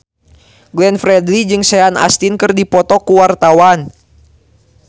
Glenn Fredly jeung Sean Astin keur dipoto ku wartawan